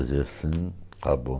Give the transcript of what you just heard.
Se ele fazia assim, acabou.